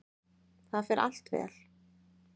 Það fer allt vel.